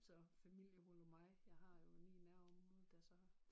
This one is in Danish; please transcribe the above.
Så familiehurlumhej jeg har jo lige i nærområdet der så